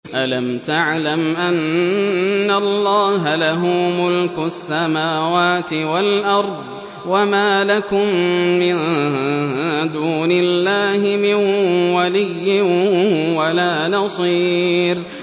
أَلَمْ تَعْلَمْ أَنَّ اللَّهَ لَهُ مُلْكُ السَّمَاوَاتِ وَالْأَرْضِ ۗ وَمَا لَكُم مِّن دُونِ اللَّهِ مِن وَلِيٍّ وَلَا نَصِيرٍ